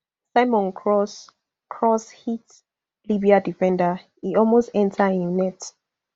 simon cross cross hit libya defender e almost enta inside im net